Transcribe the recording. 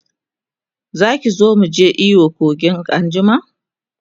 Zaki zo muje iyo a kogin anjima?